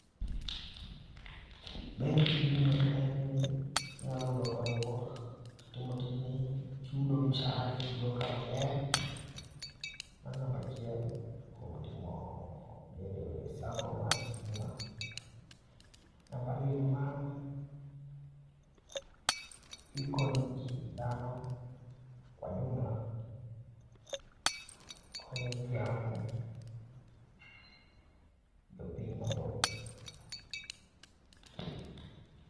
Ber tijni en ni inyalo yudo konyruok kitimo tijni, chudo mshahara ichudo kae mabe,r mano namba achiel kuom bedo e sacco mar stima .Namba ariyo ne mano, ikonyo ji dhano kwa jumla, ikonyo jano jopiny mathoth